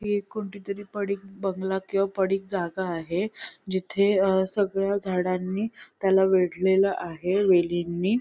हि एक कोणतीतरी पडीक बंगला किंवा पडीक जागा आहे जिथे अ सगळ्या झाडांनी त्याला वेढलेलं आहे वेलींनी.